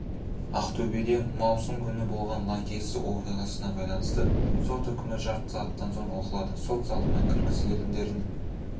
ақтөбеде маусым күні болған лаңкестік оқиғасына байланысты сот үкімі жарты сағаттан соң оқылады сот залына кіргізілетіндердің